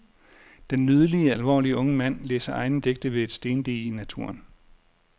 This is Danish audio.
Den nydelige, alvorlige unge mand, læser egne digte ved et stendige i naturen.